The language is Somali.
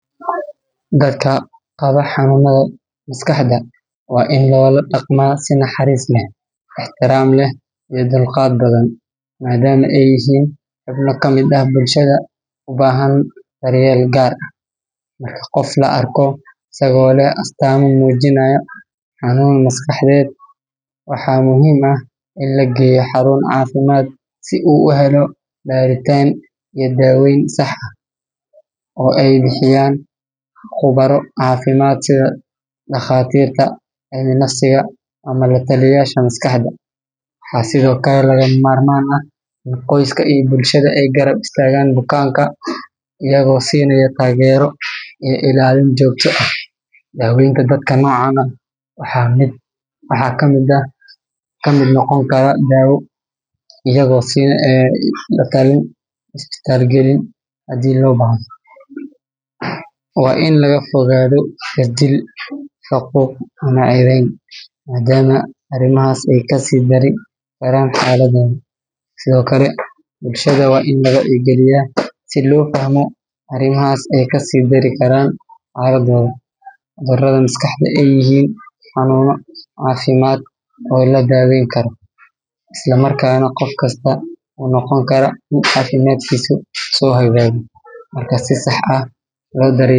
Dadka qaba xanuunnada maskaxda waa in loola dhaqmaa si naxariis leh, ixtiraam leh, iyo dulqaad badan, maadaama ay yihiin xubno ka mid ah bulshada u baahan daryeel gaar ah. Marka qof la arko isagoo leh astaamo muujinaya xanuun maskaxeed, waxaa muhiim ah in la geeyo xarun caafimaad si uu u helo baaritaan iyo daaweyn sax ah oo ay bixiyaan khubaro caafimaad sida dhakhaatiirta cilminafsiga ama la-taliyeyaasha maskaxda. Waxaa sidoo kale lagama maarmaan ah in qoyska iyo bulshada ay garab istaagaan bukaanka, iyagoo siinaya taageero iyo ilaalin joogto ah. Daaweynta dadka noocan ah waxaa ka mid noqon kara daawo, la-talin, iyo isbitaal gelin haddii loo baahdo. Waa in laga fogaado jirdil, faquuq ama ceebayn, maadaama arrimahaas ay ka sii dari karaan xaaladdooda. Sidoo kale, bulshada waa in la wacyigeliyaa si loo fahmo in cudurrada maskaxda ay yihiin xanuunno caafimaad oo la daawayn karo, isla markaana qof kasta uu noqon karo mid caafimaadkiisu soo hagaago. Marka si sax ah loo daryeelo.